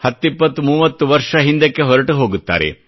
10 20 30 ವರ್ಷ ಹಿಂದಕ್ಕೆ ಹೊರಟುಹೋಗುತ್ತಾರೆ